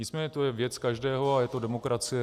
Nicméně to je věc každého a je to demokracie.